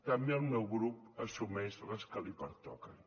també el meu grup assumeix les que li pertoquen